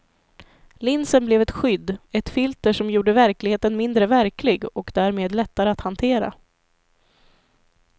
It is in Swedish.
Linsen blev ett skydd, ett filter som gjorde verkligheten mindre verklig och därmed lättare att hantera.